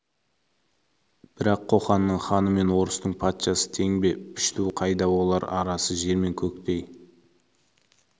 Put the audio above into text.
бірақ қоқанның ханы мен орыстың патшасы тең бе пішту қайда ол арасы жер мен көктей орыстың